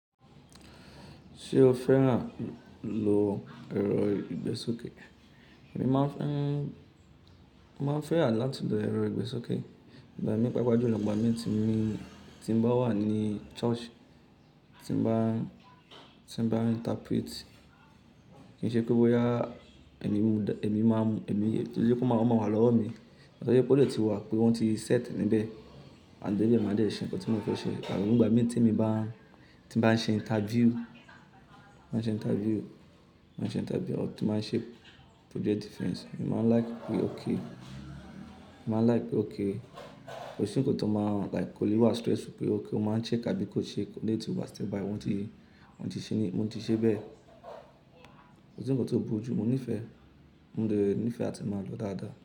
Ṣé o fẹ́ràn lo ẹ̀rọ ìgbésókè? Èmi máa ń fẹ́ràn láti lo ẹ̀rọ ìgbésókè. Ìgbà mí paapaa julọ̀, ìgbà mi tí mo bá wà ní church, tí mo bá interprete, kí n ṣe pé bóyá emi máa mú, ẹmi ki n ṣe pe oma máa wà lọ́wọ́ mi. Tori pé ó lè ti wà, pé wọ́n ti set níbẹ̀. Maa de bẹ, màá dé ṣe ǹkan tí mo fẹ́ ṣe. Àbí nígbà mí tí emi bá ń ṣe interview, máa ń ṣe interview, máa ń ṣe interview àtu máa ń ṣe project defense. Èmi máa ń like pé okay, èmi máa ń like pé okay, kò sí ǹkan tó máa like kò lè wà stressful pé okay o máa ń shake abií kó shake, eleyi ti wa stay by wọ́n ti, wọ́n ti ṣe ní mo ti ṣe bẹ́ẹ̀. Kò sí ǹkan tó burú jù. Mo nífẹ̀ẹ́, mo dẹ nífẹ̀ẹ́ àti máa lọ dáadáa.